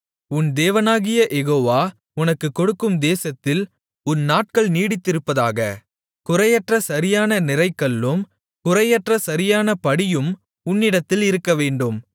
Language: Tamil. உன் தேவனாகிய யெகோவா உனக்குக்கொடுக்கும் தேசத்தில் உன் நாட்கள் நீடித்திருப்பதற்காக குறையற்ற சரியான நிறைகல்லும் குறையற்ற சரியான படியும் உன்னிடத்தில் இருக்கவேண்டும்